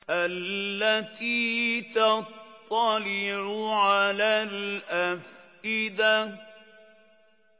الَّتِي تَطَّلِعُ عَلَى الْأَفْئِدَةِ